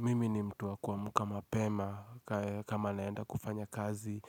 Mimi ni mtu wa kuamka mapema kama naenda kufanya kazi